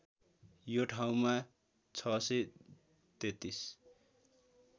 यो ठाउँमा ६३३